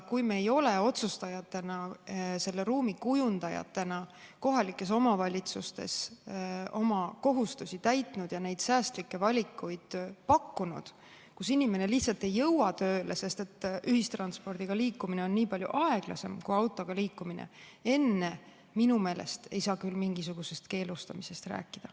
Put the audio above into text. Kui me ei ole otsustajatena, selle ruumi kujundajatena kohalikes omavalitsustes oma kohustusi täitnud ja neid säästlikke valikuid pakkunud, kui inimene lihtsalt ei jõua tööle, sest ühistranspordiga liikumine on nii palju aeglasem kui autoga liikumine, siis minu meelest ei saa küll mingisugusest keelustamisest rääkida.